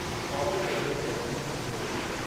Coffee table ते रखी हू हलियो वियो।